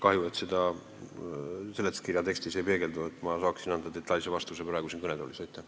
Kahju, et seda seletuskirja tekstis ei ole, muidu saaksin teile siin kõnetoolis praegu detailse vastuse anda.